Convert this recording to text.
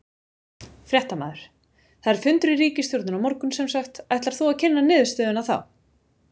Fréttamaður: Það er fundur í ríkisstjórninni á morgun semsagt, ætlar þú að kynna niðurstöðuna þá?